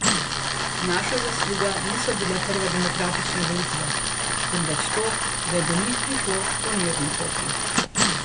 Naša zasluga niso bile prve demokratične volitve, temveč to, da je do njih prišlo po mirni poti.